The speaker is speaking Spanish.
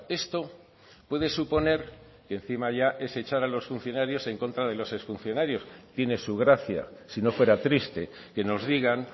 esto puede suponer y encima ya es echar a los funcionarios en contra de los exfuncionarios tiene su gracia si no fuera triste que nos digan